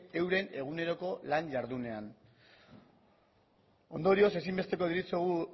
euren eguneroko lan jardunean ondorioz ezinbesteko deritzogu